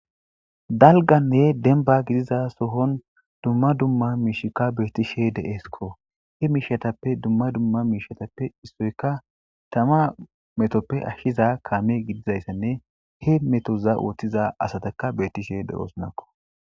dalganne denba gidiza sohon dumma dumma miishikka beettishe de'esikko he miishatappe dumma dumma miishatappe issoyka tama metoppe ashshiza kaamey gidizayssanne he metoza ooththiza asataka beettishe de'osnakko